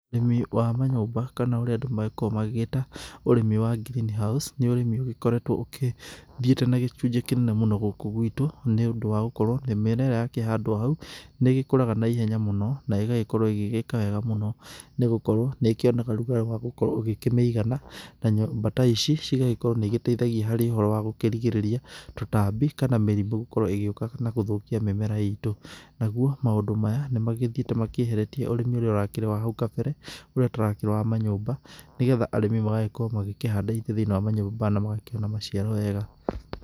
Ũrĩmi wa manyũmba kana ũrĩa andũ makoragwo magĩgĩta ũrĩmi wa Green House nĩ ũrĩmi ũgĩkoretwo ũkĩthiĩte na gĩcunjĩ kĩnene mũno gũkũ gwĩtũ nĩ ũndũ wa gũkorwo mĩmera ĩrĩa yakĩhandwo kũu nĩ ĩgĩkũraga na ihenya mũno na ĩgagĩkorwo ĩgĩka wega mũno nĩgũkorwo nĩ ĩkĩonaga ũrũgarĩ wagũkorwo ũgĩkĩmĩigana na nyũmba ta icicigagĩkorwo nĩ iteithagia harĩ ũhoro wa gũkĩrigĩrĩria tutambi kana mĩrimũ gũkorwo ĩgĩũka na gũthũkia mĩmera itũ, nagũo maũndũ maya nĩ magĩthiĩte makĩeheretie ũrĩmi ũrĩa ũrakĩrĩ wa hau kambere ũrĩa ũtarakĩrĩ wa manyũmba nĩgetha arĩmi magagĩkorwo magĩkĩhanda indo thĩinĩ wa manyũmba na magakĩona maciaro wega.